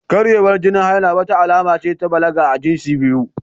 Karyewar jinin haila, wata alama ce ta balaga ga jinsi biyu